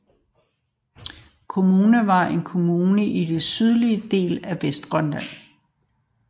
Qaqortoq Kommune var en kommune i den sydlige del af Vestgrønland